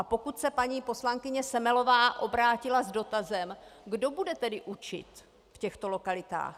A pokud se paní poslankyně Semelová obrátila s dotazem: "Kdo bude tedy učit v těchto lokalitách?"